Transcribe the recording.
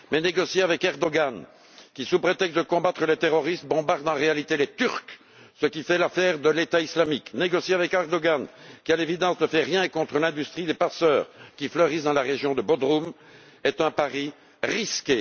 Mais négocier avec Erdogan qui, sous prétexte de combattre le terrorisme, bombarde en réalité les Turcs ce qui fait l'affaire de l'État islamique négocier avec Erdogan qui, à l'évidence, ne fait rien contre l'industrie des passeurs qui fleurissent dans la région de Bodrum est un pari risqué.